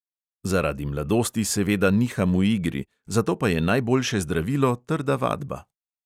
Zaradi mladosti seveda niham v igri, zato pa je najboljše zdravilo trda vadba.